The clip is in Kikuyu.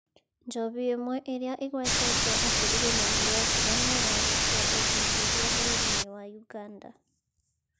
Njohi ĩmwe ĩrĩa ĩgwetetwo atĩ ĩrĩ na"Viagra" nĩ ĩrarutwo ũthuthuria bũrũri-inĩ wa Uganda.